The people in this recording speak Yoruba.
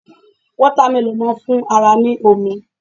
Wọ́támẹlọ̀n má ń fún ara ní omi